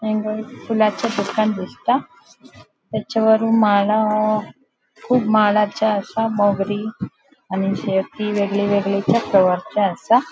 हांगा एक फुलांचे दिसता तेजे वयर माळा कुब माळाचे आसा मोगरी आणि शेवती वेगळी वेगळी आसा.